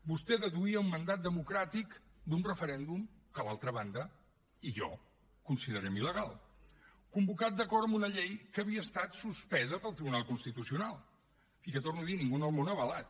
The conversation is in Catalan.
vostè deduïa un mandat democràtic d’un referèndum que l’altra banda i jo considerem il·legal convocat d’acord amb una llei que havia estat suspesa pel tribunal constitucional i que ho torno a dir ningú en el món ha avalat